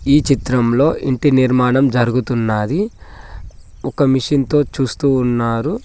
ఈ చిత్రంలో ఇంటి నిర్మాణం జరుగుతున్నది ఒక మిషన్ తో చూస్తూ ఉన్నారు.